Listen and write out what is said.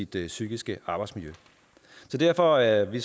det psykiske arbejdsmiljø derfor er vi